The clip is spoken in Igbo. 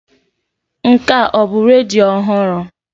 Nke a ọ bụ redio ọhụrụ?